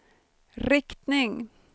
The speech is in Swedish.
riktning